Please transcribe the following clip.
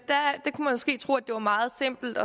måske tro at det var meget simpelt